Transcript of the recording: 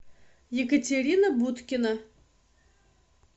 екатерина будкина